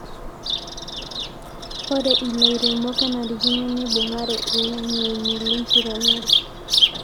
ore ilairemok kenarikino neibung'are ilang'eni lenkiremore